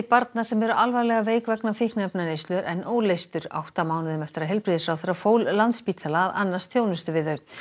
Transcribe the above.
barna sem eru alvarlega veik vegna fíkniefnaneyslu er enn óleystur átta mánuðum eftir að heilbrigðisráðherra fól Landspítala að annast þjónustu við þau